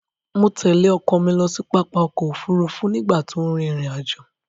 Mo tẹ̀lé ọkọ mi lọ sí pápá ọ̀kọ̀-òfurufú nígbà tó n rin ìrìn-àjọ̀.